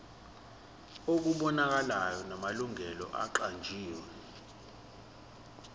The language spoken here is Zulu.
okubonakalayo namalungu aqanjiwe